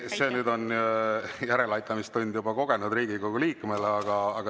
See nüüd on järeleaitamistund juba kogenud Riigikogu liikmele.